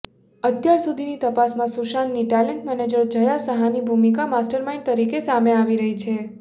અત્યારસુધીની તપાસમાં સુશાંતની talent manager Jaya સાહાની ભૂમિકા માસ્ટરમાઇન્ડ તરીકે સામે આવી રહી છે